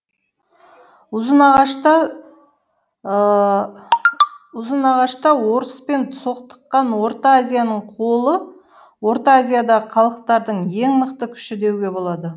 ұзынағашта орыспен соқтыққан орта азияның қолы орта азиядағы халықтардың ең мықты күші деуге болады